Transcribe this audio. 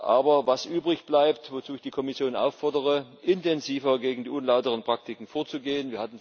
Aber was übrig bleibt und wozu ich die Kommission auffordere intensiver gegen die unlauteren Praktiken vorzugehen.